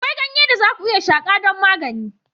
Akwai ganye da za ku iya shakar don magani.